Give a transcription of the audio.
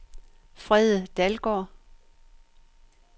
Frede Dalgaard